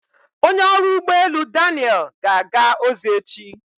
Onye ọrụ ụgbọ elu Daniel ga-aga ozi echi.